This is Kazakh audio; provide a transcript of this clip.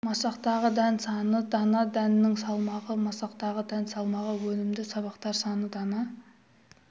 масақтағы дән саны дана дәннің салмағы масақтағы дән салмағы өнімді сабақтар саны дана